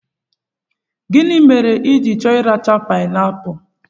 Gịnị mere i chọrọ ị racha pibeapụ?